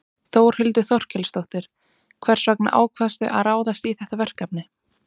Þórhildur Þorkelsdóttir: Hvers vegna ákvaðstu að ráðast í þetta verkefni?